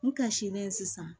N ka silen sisan